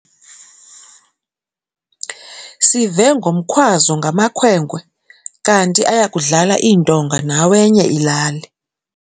Sive ngomkhwazo ngamakhwenkwe kanti aya kudlala iintonga nawenye ilali.